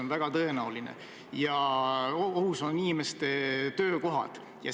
On väga tõenäoline, et ohus on inimeste töökohad.